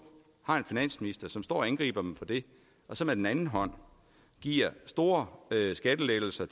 har de en finansminister som står og angriber dem for det og så med den anden hånd giver store skattelettelser